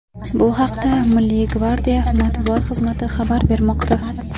Bu haqda Milliy gvardiya matbuot xizmati xabar bermoqda .